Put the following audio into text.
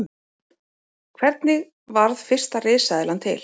Hvernig varð fyrsta risaeðlan til?